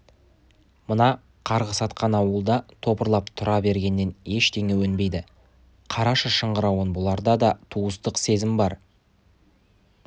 мына қарғыс атқан ауылда топырлап тұра бергеннен ештеңе өнбейді қарашы шыңғыруын бұларда да туысқандық сезім бар